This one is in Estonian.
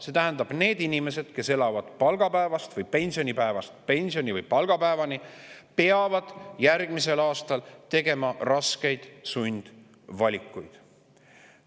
See tähendab, et need inimesed, kes elavad palgapäevast palgapäevani või pensionipäevast pensionipäevani, peavad järgmisel aastal tegema raskeid sundvalikuid.